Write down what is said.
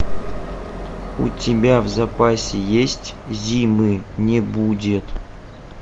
у тебя в запасе есть зимы не будет